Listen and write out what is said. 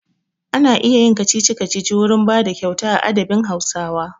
Ana iya yin kacici-kacici wurin bada kyauta a adabin Hausawa.